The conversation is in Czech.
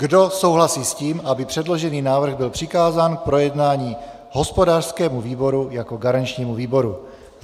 Kdo souhlasí s tím, aby předložený návrh byl přikázán k projednání hospodářskému výboru jako garančnímu výboru?